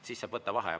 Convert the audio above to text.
Siis saab võtta vaheaja.